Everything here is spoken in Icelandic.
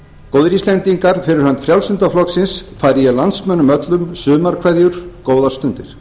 góðir íslendingar fyrir hönd frjálslynda flokksins færi ég landsmönnum öllum sumarkveðjur góðar stundir